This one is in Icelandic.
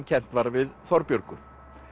kennt var við Þorbjörgu